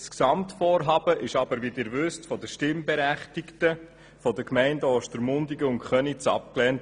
Wie Sie wissen, wurde das Gesamtvorhaben von den Stimmberechtigten der Gemeinden Ostermundigen und Köniz abgelehnt.